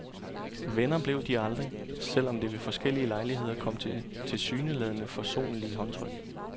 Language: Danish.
Venner blev de aldrig, selv om det ved forskellige lejligheder kom til tilsyneladende forsonlige håndtryk.